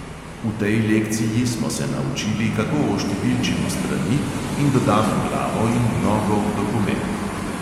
V tej lekciji smo se naučili, kako oštevilčimo strani in dodamo glavo in nogo v dokument.